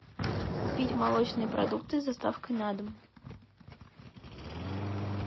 купить молочные продукты с доставкой на дом